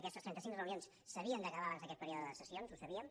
aquestes trenta cinc reunions s’havien d’acabar abans d’aquest període de sessions ho sabíem